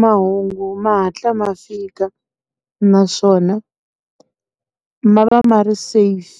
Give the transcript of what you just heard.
Mahungu ma hatla ma fika, naswona ma va ma ri safe